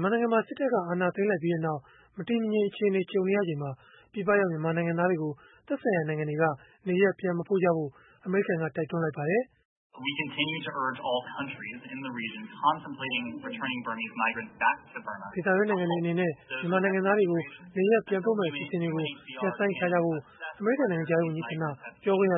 မြန်မာနိုင်ငံမှာ စစ်တပ်က အာဏာသိမ်းလိုက်ပြီးနောက် မတည်မငြိမ်အခြေအနေ ကြုံနေရချိန်မှာ ပြည်ပရောက် မြန်မာနိုင်ငံသားတွေကို သက်ဆိုင်ရာနိုင်ငံတွေက နေရပ် ပြန်မပို့ဖို့ အမေရိကန်က တိုက်တွန်းလိုက်ပါတယ်။ "ဒေသတွင်းနိုင်ငံတွေ မြန်မာနိုင်ငံသားတွေကို နေရပ်ပြန်ပို့မယ့် အစီအစဉ်တွေကို ရပ်ဆိုင်းထားဖို့ " အမေရိကန် နိုင်ငံခြားရေး ဝန်ကြီးဌာန ပြောခွင့်ရ